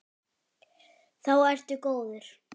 Þá ertu góður.